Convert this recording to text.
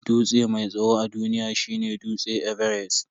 Dutse mai tsawo a duniya shine dutse everest.